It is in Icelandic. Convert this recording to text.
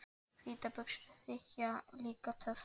Hvítar buxur þykja líka töff.